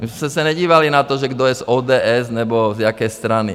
My jsme se nedívali na to, že kdo je z ODS nebo z jaké strany.